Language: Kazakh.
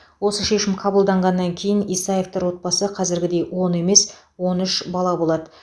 осы шешім қабылданғаннан кейін исаевтар отбасы қазіргідей он емес он үш бала болады